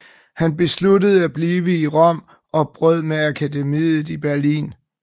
Han besluttede at blive i Rom og brød med akademiet i Berlin